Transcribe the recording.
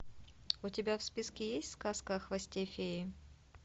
у тебя в списке есть сказка о хвосте феи